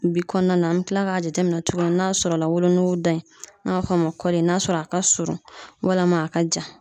Bi kɔnɔna na an bi kila k'a jateminɛ tuguni n'a sɔrɔ la wolonugu da in n'a fɔ ma kɔli n'a sɔrɔ a ka surun walama a ka jan